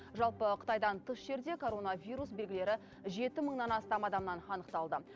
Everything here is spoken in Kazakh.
жалпы қытайдан тыс жерде коронавирус белгілері жеті мыңнан астам адамнан анықталды